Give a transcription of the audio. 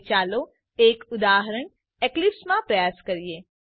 હવે ચાલો એક ઉદાહરણ એક્લિપ્સ માં પ્રયાસ કરીએ